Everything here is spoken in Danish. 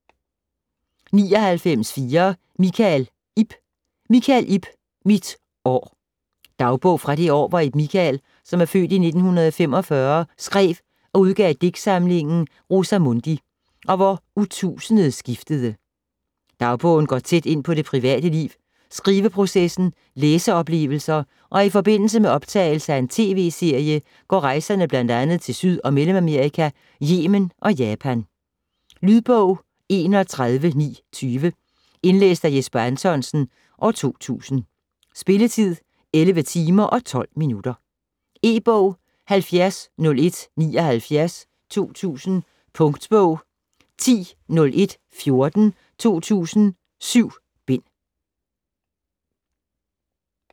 99.4 Michael, Ib Michael, Ib: Mit år Dagbog fra det år hvor Ib Michael (f. 1945) skrev og udgav digtsamlingen "Rosa Mundi" og hvor årtusindet skiftede. Dagbogen går tæt på det private liv, skriveprocessen, læseoplevelser og i forbindelse med optagelse af en TV-serie går rejserne bl.a. til Syd- og Mellemamerika, Yemen og Japan. Lydbog 31920 Indlæst af Jesper Anthonsen, 2000. Spilletid: 11 timer, 12 minutter. E-bog 700179 2000. Punktbog 100114 2000. 7 bind.